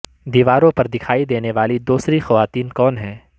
دیواروں پر دکھائی دینے والی دوسری خواتین کون ہیں